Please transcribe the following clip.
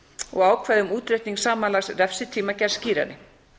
og ákvæði um útreikning samanlagðs refsitíma gerð skýrari